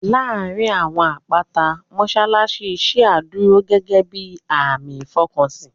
Láàárín àwọn àpáta, mọ́ṣáláṣí ṣíà dúró gẹ́gẹ́ bíi àmì ìfọkànsìn